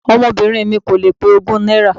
Ọmọbìnrin mi kò lè pé ogún náírà.